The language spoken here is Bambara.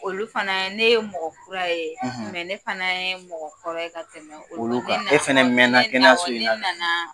Olu fana ne ye mɔgɔ kura ye; Ne fana ye mɔgɔ kɔrɔ ye ka tɛmɛ olu kan; olu kan; Ne E fɛnɛ mɛnna kɛnɛyaso nina; Awɔ ne nanaaa